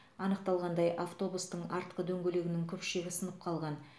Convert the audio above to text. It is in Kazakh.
анықталғандай автобустың артқы дөңгелегінің күпшегі сынып қалған